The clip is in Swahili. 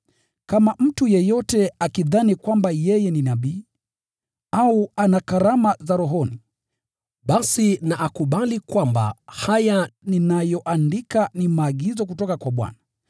Kama mtu yeyote akidhani kwamba yeye ni nabii, au ana karama za rohoni, basi na akubali kwamba haya ninayoandika ni maagizo kutoka kwa Bwana.